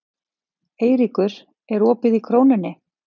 Eyríkur, er opið í Krónunni?